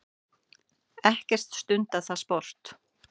Ekkert stundað það sport.